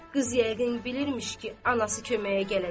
Qız yəqin bilirmiş ki, anası köməyə gələcək.